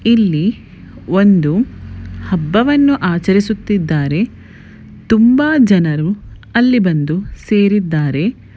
ಇಲ್ಲಿ ಒಂದು ಹಬ್ಬವನ್ನು ಆಚರಿಸುತಿದ್ದರೆ ತುಂಬಾ ಜನರು ಅಲ್ಲಿ ಬಂದು ಸೇರಿದ್ದಾರೆ .